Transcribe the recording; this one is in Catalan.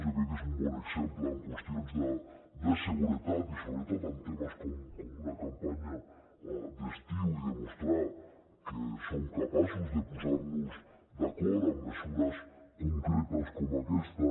jo crec que és un bon exemple en qüestions de seguretat i sobretot en temes com una campanya d’estiu i demostrar que som capaços de posar nos d’acord en mesures concretes com aquesta